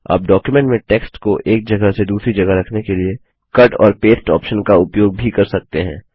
आप डॉक्युमेंट में टेक्स्ट को एक जगह से दूसरी जगह रखने के लिए कट और पेस्ट ऑप्शन का उपयोग भी कर सकते हैं